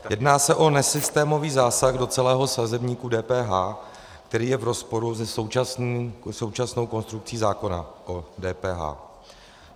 Jedná se o nesystémový zásah do celého sazebníku DPH, který je v rozporu se současnou konstrukcí zákona o DPH.